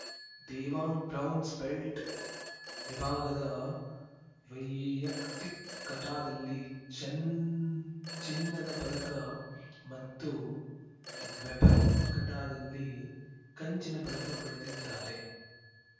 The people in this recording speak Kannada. ದೇವಾಂಗ್‌ ಬ್ರೌನ್ಸ್ ಬೆಲ್ಟ್‌ ವಿಭಾಗದ ವೈಯಕ್ತಿ ಕಟಾದಲ್ಲಿ ಚನ್ ಚಿನ್ನದ ಪದಕ ಮತ್ತು ವೆಪನ್‌ ಕಟಾದಲ್ಲಿ ಕಂಚಿನ ಪದಕ ಪಡೆದಿದ್ದಾರೆ